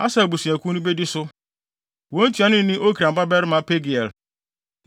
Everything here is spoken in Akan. Aser abusuakuw no bedi so. Wɔn ntuanoni ne Okran babarima Pagiel.